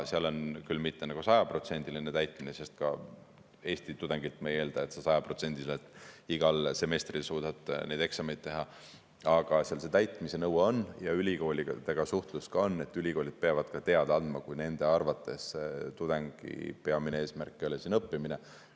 Seal ei ole küll mitte sajaprotsendiline täitmine, sest ka Eesti tudengilt me ei eelda, et ta sajaprotsendiliselt igal semestril suudab eksameid teha, aga see täitmise nõue on ja ka ülikooliga suhtlus on, ka ülikoolid peavad teada andma, kui nende arvates tudengi peamine eesmärk ei ole siin õppimine.